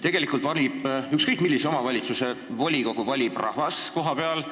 Tegelikult valib ükskõik millise omavalitsuse volikogu rahvas kohapeal,